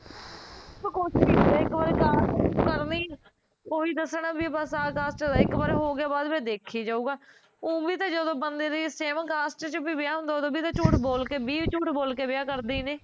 ਕੁਜ ਨੀ ਹੁੰਦਾ ਇੱਕ ਵਾਰ ਕਰਨਾ ਈ ਐ, ਓਹੀ ਦੱਸਣ ਆ ਵੀ ਆਹ cast ਦਾ ਐ, ਇੱਕ ਵਾਰ ਹੋਗਿਆ ਬਾਦ ਚ ਦੇਖਿਆ ਜਾਊਗਾ ਊ ਵੀ ਜਦੋਂ ਬੰਦੇ ਦੀ same cast ਚ ਵੀ ਵਿਆਹ ਹੁੰਦਾ ਉਦੋਂ ਵੀ ਤਾਂ ਝੂਠ ਬੋਲ ਕੇ ਵੀਹ ਝੂਠ ਬੋਲ ਕੇ ਵੀਅਹ ਕਰਦੇ ਈ ਨੇ